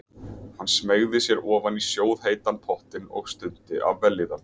Hann smeygði sér ofan í sjóðheitan pottinn og stundi af vellíðan.